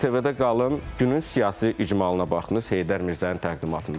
ATV-də qalın, günün siyasi icmalına baxdınız Heydər Mirzənin təqdimatında.